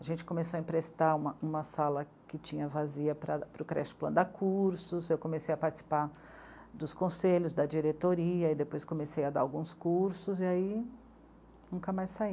A gente começou a emprestar uma, uma sala que tinha vazia para o creche plan dar cursos, eu comecei a participar dos conselhos da diretoria e depois comecei a dar alguns cursos e aí nunca mais saí.